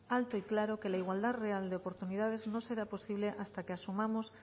alto y claro que la igualdad real de oportunidades no será posible hasta que asumamos